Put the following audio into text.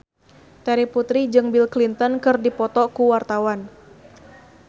Terry Putri jeung Bill Clinton keur dipoto ku wartawan